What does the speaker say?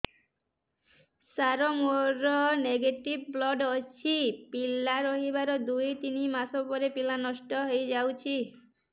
ସାର ମୋର negative blood ଅଛି ପିଲା ରହିବାର ଦୁଇ ତିନି ମାସ ପରେ ପିଲା ନଷ୍ଟ ହେଇ ଯାଉଛି